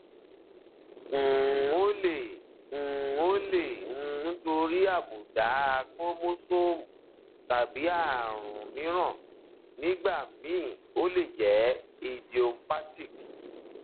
um ó lè um ó lè jẹ um nítorí àbùdá chromosome tàbí ààrùn mìíràn nígbà míì ó lè jẹ idiopathic